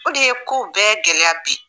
O de ye kow bɛɛ gɛlɛya bi